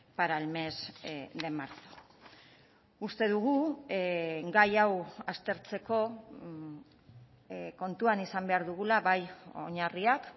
para el mes de marzo uste dugu gai hau aztertzeko kontuan izan behar dugula bai oinarriak